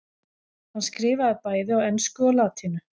hann skrifaði bæði á ensku og latínu